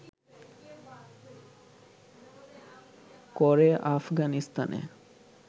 করে আফগানিস্তানে